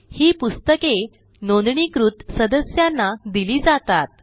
ही पुस्तके नोंदणीकृत सदस्यांना दिली जातात